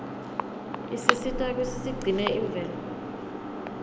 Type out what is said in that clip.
isisita kutsi sigcine imvelo